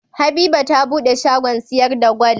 Habiba ta buɗe shagon siyar da gwal